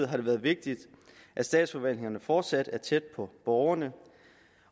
har det været vigtigt at statsforvaltningerne fortsat er tæt på borgerne